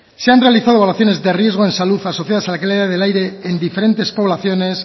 se han realizado evaluaciones de riesgo en salud asociadas a la calidad del aire en diferentes poblaciones